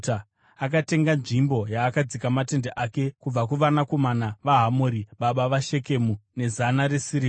Akatenga nzvimbo yaakadzika matende ake kubva kuvanakomana vaHamori, baba vaShekemu nezana resirivha.